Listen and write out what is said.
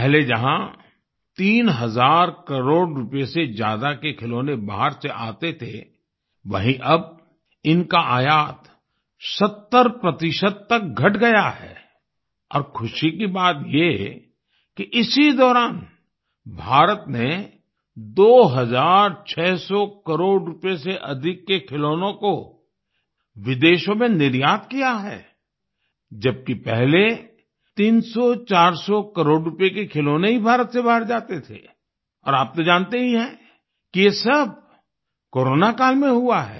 पहले जहाँ 3 हजार करोड़ रुपए से ज्यादा के खिलौने बाहर से आते थे वहीँ अब इनका आयात 70 प्रतिशत तक घट गया है और खुशी की बात ये कि इसी दौरान भारत ने दो हज़ार छःह सौ करोड़ रुपए से अधिक के खिलौनों को विदेशों में निर्यात किया है जबकि पहले 300400 करोड़ रुपए के खिलौने ही भारत से बाहर जाते थे और आप तो जानते ही हैं कि ये सब कोरोना काल में हुआ है